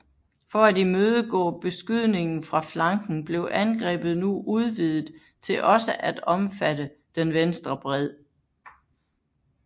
For at imødegå beskydningen fra flanken blev angrebet nu udvidet til også at omfatte den venstre bred